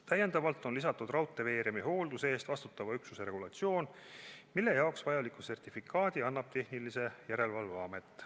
Täiendavalt on lisatud raudteeveeremi hoolduse eest vastutava üksuse regulatsioon, mille jaoks vajaliku sertifikaadi annab tehnilise järelevalve amet.